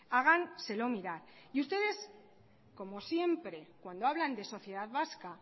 háganselo mirar y ustedes como siempre cuando hablan de sociedad vasca